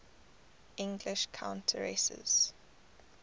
english countesses